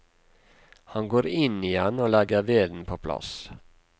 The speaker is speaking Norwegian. Han går inn igjen og legger veden på plass.